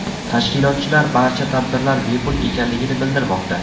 Tashkilotchilar barcha tadbirlar bepul ekanligini bildirmoqda.